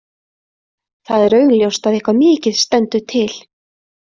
Það er augljóst að eitthvað mikið stendur til.